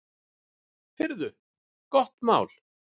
Heyrðu, gott mál!